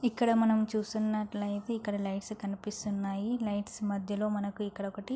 ఇక్కడ మనం చూస్తున్నట్లైతే ఇక్కడ లైట్స్ కనిపిస్తున్నాయి లైట్స్ మధ్యలో మనకు ఇక్కడొకటి --